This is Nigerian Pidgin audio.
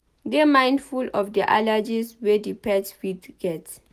Dey mindful of di allergies wey di pet fit get